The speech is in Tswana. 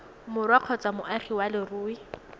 borwa kgotsa moagi wa leruri